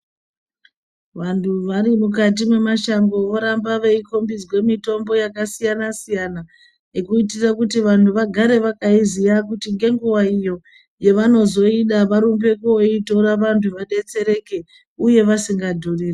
Vanthu vari mukati memashango voramba veikombidzwa mitombo yakasiyana siyana kuitira kuti vanhu vagare vakaiziya kuti nhenguwa iyo yavanozoida varumbe koitora vanthu vadetsereke uye vasingadhurirwi.